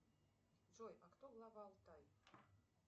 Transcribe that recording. джой а кто глава алтай